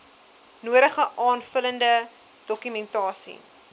nodige aanvullende dokumentasie